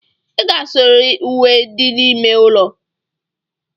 Ị ga-asụrịrị uwe dị n'ime ụlọ